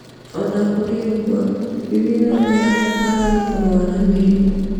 O na kũrĩ ũguo, thithino nĩ ya bata harĩ kũrũa na mĩrimũ.